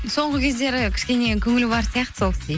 соңғы кездері кішкене көңілі бар сияқты сол